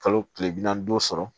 Kalo tile bi naani ni duuru sɔrɔ